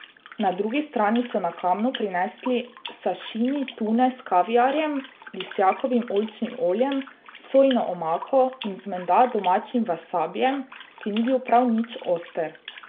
Na drugi strani so na kamnu prinesli sašimi tune s kaviarjem, Lisjakovim oljčnim oljem, sojino omako in z menda domačim vasabijem, ki ni bil prav nič oster.